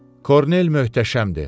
Kornel möhtəşəmdir.